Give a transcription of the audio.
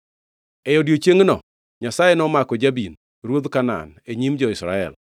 E odiechiengno Nyasaye nomako Jabin, ruodh Kanaan, e nyim jo-Israel.